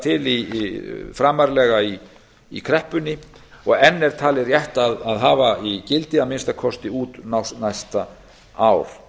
til framarlega í kreppunni og enn er talið rétt að hafa í gildi að minnsta kosti út næsta ár